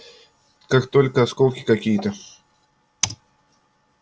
как только осколки какие-то